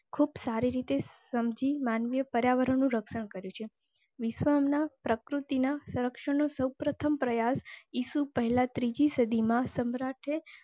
ખુબ સારી રીતે સમજી માનવી પર્યાવરણનું રક્ષણ કરેં છે. વિશ્વના પ્રકૃતિ ના સંરક્ષણ સૌ પ્રથમ પ્રયાસ ઈસુ પહેલાં ત્રીજી સદી માં સમ્રાટે